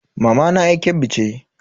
Mamana yar Kebbi ce.